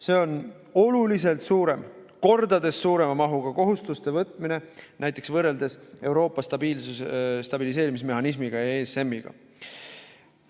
See on oluliselt suurema, mitu korda suurema mahuga kohustuste võtmine võrreldes näiteks Euroopa stabiliseerimismehhanismiga, ESM‑iga.